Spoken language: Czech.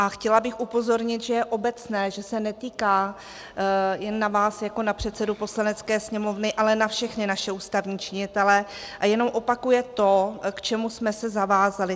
A chtěla bych upozornit, že je obecné, že se netýká, jen na vás jako na předsedu Poslanecké sněmovny, ale na všechny naše ústavní činitele a jenom opakuje to, k čemu jsme se zavázali.